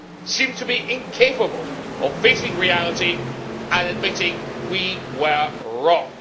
seem to be incapable of facing reality and admitting we were wrong?